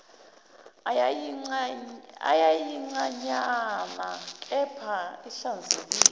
eyayincanyana kepha ihlanzekile